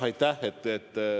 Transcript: Aitäh!